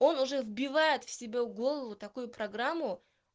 он уже вбивает в себе в голову такую программу